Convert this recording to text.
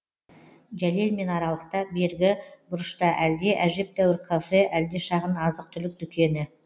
жәлелмен аралықта бергі бұрышта әлде әжептәуір кафе әлде шағын азық түлік дүкені